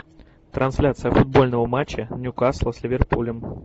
трансляция футбольного матча ньюкасла с ливерпулем